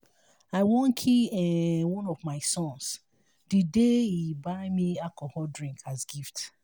i wan kill um one of my sons the day he buy me alcoholic drink as gift